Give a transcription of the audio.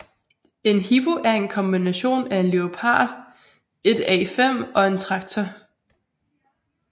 En Hippo er en kombination af en Leopard 1A5 og en traktor